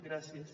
gràcies